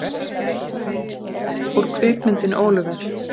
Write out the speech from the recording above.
Mynd: Úr kvikmyndinni Oliver!